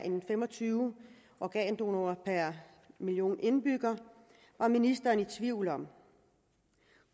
fem og tyve organdonorer per million indbyggere var ministeren i tvivl om